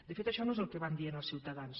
de fet això no és el que van dient als ciutadans